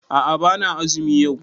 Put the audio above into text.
A'a bana azumi yau